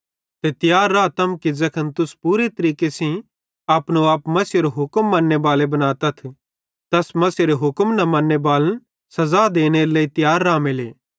ते तियार रातम कि ज़ैखन तुस पूरे तरीके सेइं अपनो आप मसीहेरो हुक्म मन्नेबाले बनातथ त अस मसीहेरे हुक्म न मन्ने बालन सज़ा देनेरे लेइ तियार रामेले